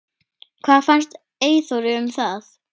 Hvað fannst Eyþóri um það?